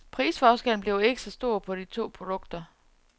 Prisforskellen bliver ikke så stor på de to produkter.